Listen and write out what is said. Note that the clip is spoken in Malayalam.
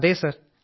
അതെ സർ